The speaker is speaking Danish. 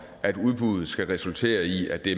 at udbuddet skal resultere i at det